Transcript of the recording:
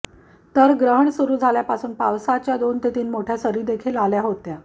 तर ग्रहण सुरु झाल्यापासून पावसाच्या दोन ते तीन मोठया सरीदेखील आल्या होत्या